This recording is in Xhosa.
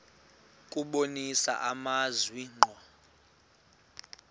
kubonisa amazwi ngqo